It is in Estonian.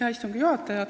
Hea istungi juhataja!